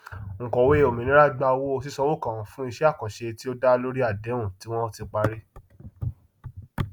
onkọwé ọmìnira gba owó sísanwó kan fún iṣẹ àkànṣe tí ó dá lórí àdéhùn tí wọn ti parí